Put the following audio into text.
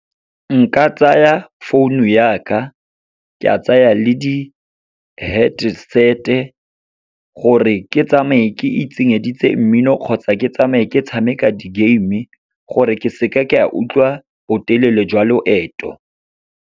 Nka tsaya founu ya ka, ke a tsaya le di-headset-e, gore ke tsamaye ke itsenyeditse mmino kgotsa ke tsamaye ke tshameka di-game-e gore ke seka ka utlwa botelele jwa loeto.